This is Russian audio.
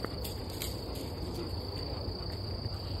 на ютюбе сериалы